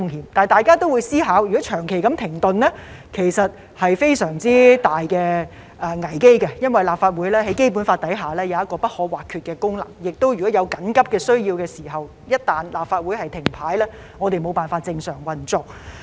可是，大家也會思考，如果會議長期停頓，其實是非常大的危機，因為立法會在《基本法》下有不可或缺的功能，而且在有緊急需要時，立法會一旦停擺，我們便無法正常運作。